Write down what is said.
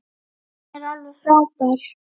Hún er alveg frábær.